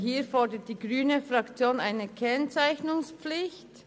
Hier fordert die grüne Fraktion eine Kennzeichnungspflicht.